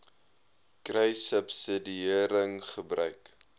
kruissubsidiëringgebruik